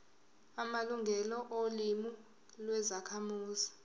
amalungelo olimi lwezakhamuzi